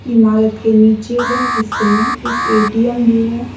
इमारत के निचले हिस्से में एक ए_टी_एम भी है।